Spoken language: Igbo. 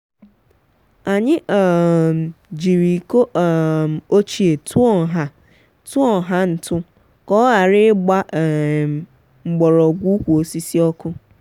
anyị um jiri iko um ochie tụọ nha tụọ nha ntụ ka ọ ghara ịgba um mgbọrọgwụ ukwu osisi ọkụ.